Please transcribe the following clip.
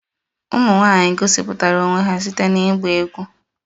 Ụmụ nwanyị gosipụtara onwe ha site na ịgba egwú